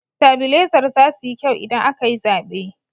Sitabilezar zasu yi kyau idan aka yi zaɓe.